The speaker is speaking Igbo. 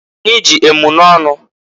Anyị ji emunọnụ.